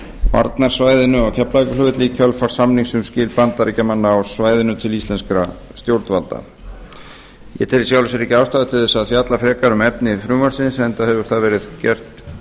varnarsvæðinu á keflavíkurflugvelli í kjölfar samnings um skil bandaríkjamanna á svæðinu til íslenskra stjórnvalda ég tel í sjálfu sér ekki ástæðu til að fjalla frekar um efni frumvarpsins enda hefur það verið gert